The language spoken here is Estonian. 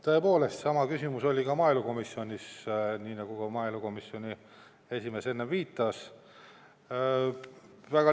Tõepoolest, sama küsimus oli ka maaelukomisjonis, nii nagu maaelukomisjoni esimees enne viitas.